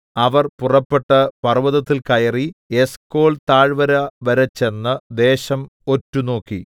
അവർ പുറപ്പെട്ട് പർവ്വതത്തിൽ കയറി എസ്കോൽതാഴ്വര വരെ ചെന്ന് ദേശം ഒറ്റുനോക്കി